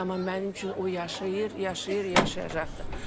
Amma mənim üçün o yaşayır, yaşayır, yaşayacaqdır.